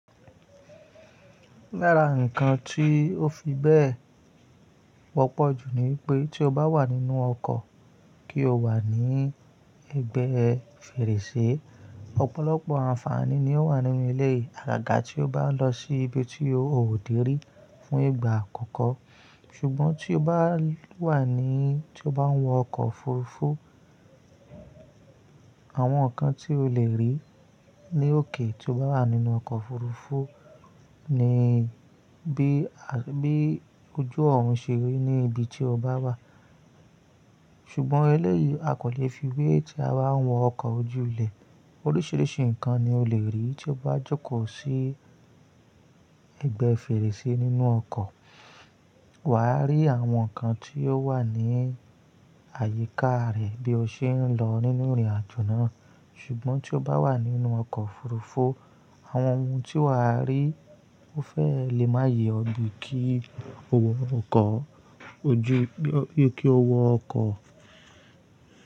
Lára ǹkan tí ó fi bẹ́ẹ̀, wọ́pọ̀ jù ni pé tí o bá wà nínú ọkọ̀ kí o wà ní ẹ̀gbẹ́ fèrèsé, ọ̀pọ̀lọpọ̀ àǹfààní ni ó wà nínú ilé àgàgà tí o bá lọ sí ibi tí o ò dèrí fún ìgbà àkọ́kọ́. Ṣùgbọ́n tí o bá wà ní, tí o bá ń wọ ọkọ̀ òfurufú, àwọn ǹkan tí o lè rí ní òkè tí o bá wà nínú ọkọ̀ òfurufú ni bí, bí ojú ọ̀run ṣe rí ní ibi tí o bá wà. Ṣùgbọ́n eléyìí a kò lè fi wé tí a bá ń wọ ọkọ̀ ojú ilẹ̀. Oríṣiríṣi ǹkan ni o lè rí tí o bá jókòó sí ẹ̀gbẹ́ fèrèsé nínú ọkọ̀. Wà á rí àwọn ǹkan tí ó wà ní àyíká rẹ̀ bí o ṣe ń lọ nínú ìrìnàjò náà. Ṣùgbọ́n tí o bá wà nínú ọkọ̀ òfurufú, àwọn ohun tí wà á rí ó fẹ́ẹ̀ lè má yè ọ bi kí o wọ ọkọ̀ ojú, bí kí o wọ ọkọ̀